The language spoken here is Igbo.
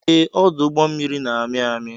Ee, ọdụ ụgbọ mmiri na-amị amị.